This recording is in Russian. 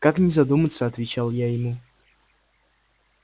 как не задуматься отвечал я ему